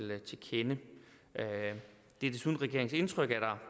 kende det er desuden regeringens indtryk at der